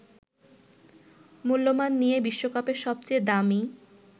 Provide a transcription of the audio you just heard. মূল্যমান নিয়ে বিশ্বকাপের সবচেয়ে দামী